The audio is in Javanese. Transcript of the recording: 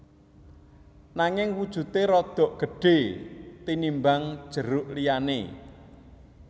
Nanging wujudé rada gedhé tinimbang jeruk liyané